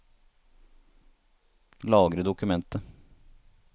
Lagre dokumentet